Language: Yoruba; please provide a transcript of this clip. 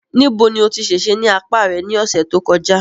Níbo lo tí ṣèṣe ní apá rẹ ní ọ̀sẹ̀ tó kọjá?